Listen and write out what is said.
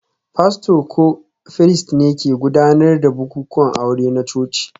Fasto ko firist ne ke gudanar da bukukuwan aure na coci